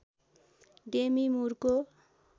Demi मुरको